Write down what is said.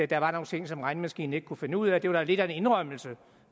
der var nogle ting som regnemaskinen ikke kunne finde ud af det var da lidt af en indrømmelse